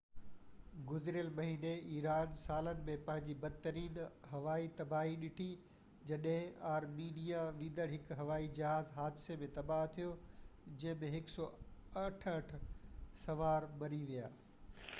گذريل مهيني ايران سالن ۾ پنهنجي بدترين هوائي تباهي ڏٺي جڏهن ارمينيا ويندڙ هڪ هوائي جهاز حادثي ۾ تباه ٿيو جنهن ۾ 168 سوار مري ويا